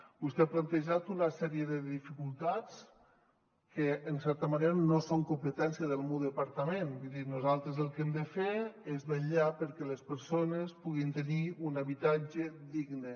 vostè ha plantejat una sèrie de dificultats que en certa manera no són competència del meu departament vull dir nosaltres el que hem de fer és vetllar perquè les persones puguin tenir un habitatge digne